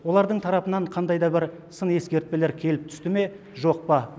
олардың тарапынан қандай да бір сын ескертпелер келіп түсті ме жоқ па